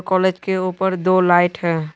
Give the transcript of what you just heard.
College के उपर दो लाइट है।